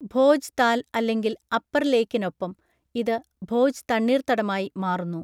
ഭോജ് താൽ അല്ലെങ്കിൽ അപ്പർ ലേക്കിനൊപ്പം, ഇത് ഭോജ് തണ്ണീർത്തടമായി മാറുന്നു.